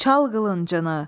Çal qılıncım,